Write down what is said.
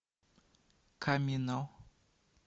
камино